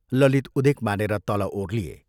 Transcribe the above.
ललित उदेक मानेर तल ओर्लिए।